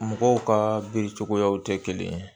Mɔgɔw ka bere cogoyaw tɛ kelen ye